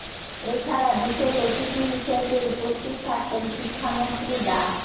এ ছাড়া বিশেষ অতিথি হিসেবে উপস্থিত থাকবেন শিক্ষামন্ত্রী ডা